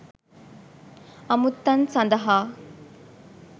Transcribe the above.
අමුත්තන් සඳහා